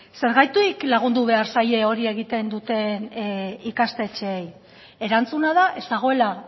zergatik lagundu behar zaie hori egiten duten ikastetxeei erantzuna da ez dagoela